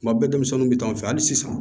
Kuma bɛɛ denmisɛnninw bɛ taa an fɛ hali sisan